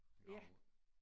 En gravhund